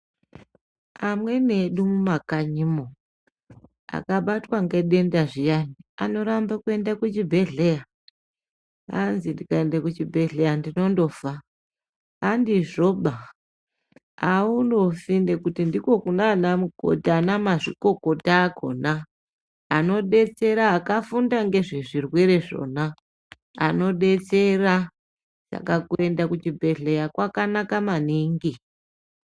Amweni edu mumakanyimwo akabatwa ngedendazviya anoramba kuenda kuchibhedhleya . Kwanzi ndikaenda kuchibhedhleya ndinondofa . Handizvoba aunofi ngekuti ndiko kunaanamukoti anamazvikokota akhona anodetsera akafunda ngezvezvirwere zvona anodetsera. Saka kuenda kuchibhehleya kwakanaka maningi.